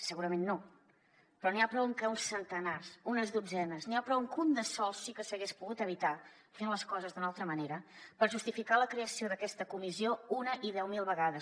segurament no però n’hi ha prou amb que uns centenars unes dotzenes n’hi ha prou amb que un de sol sí que s’hagués pogut evitar fent les coses d’una altra manera per justificar la creació d’aquesta comissió una i deu mil vegades